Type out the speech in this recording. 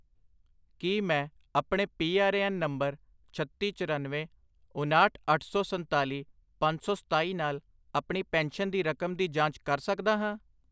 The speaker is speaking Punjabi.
ਕੀ ਮੈਂ ਆਪਣੇ P R A N number ਛੱਤੀ, ਚਰੱਨਵੇਂ, ਉਨਾਹਠ, ਅੱਠ ਸੌ ਸਨਤਾਲੀ, ਪੰਜ ਸੌ ਸਤਾਈ ਨਾਲ ਆਪਣੀ ਪੈਨਸ਼ਨ ਦੀ ਰਕਮ ਦੀ ਜਾਂਚ ਕਰ ਸਕਦਾ ਹਾਂ?